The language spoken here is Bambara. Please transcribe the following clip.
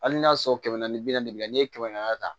Hali n'a y'a sɔrɔ kɛmɛ ni bi naani n'i ye kɛmɛ naani ta